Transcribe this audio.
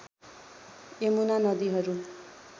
यमुना नदीहरू